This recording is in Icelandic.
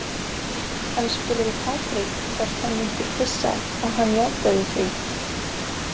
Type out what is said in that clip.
Hann spurði Patrik hvort hann vildi pissa og hann játaði því.